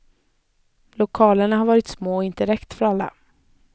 Lokalerna har varit små och inte räckt för alla.